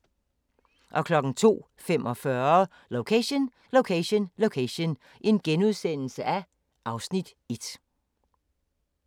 02:45: Location Location Location (Afs. 1)*